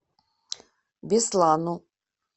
беслану